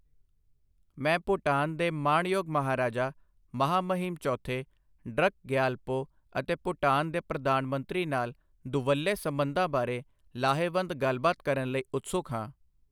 ਮੈਂ ਭੂਟਾਨ ਦੇ ਮਾਣਯੋਗ ਮਹਾਰਾਜਾ, ਮਹਾਮਹਿਮ ਚੌਥੇ ਡਰੱਕ ਗਯਾਲਪੋ ਅਤੇ ਭੂਟਾਨ ਦੇ ਪ੍ਰਧਾਨ ਮੰਤਰੀ ਨਾਲ ਦੁਵੱਲੇ ਸਬੰਧਾਂ ਬਾਰੇ ਲਾਹੇਵੰਦ ਗੱਲਬਾਤ ਕਰਨ ਲਈ ਉਤਸੁਕ ਹਾਂ।